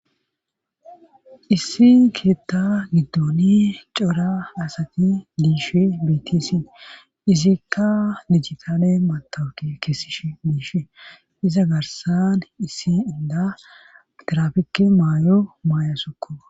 issi keetta giddon cora asati diishe bitisi izikka dijitale matawuki keessish biishe iza garsan issi inda tirafike maayo maayosokko.